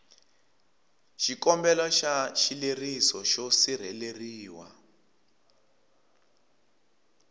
xikombelo xa xileriso xo sirheleriwa